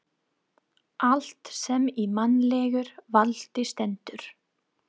Allt sem í mannlegu valdi stendur.